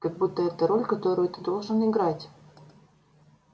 как будто это роль которую ты должен играть